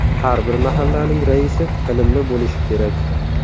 Har bir mahallaning raisi ilmli bo‘lishi kerak.